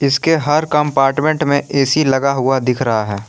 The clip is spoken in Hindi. इसके हर कम्पार्टमेंट में ए_सी लगा हुआ दिख रहा है।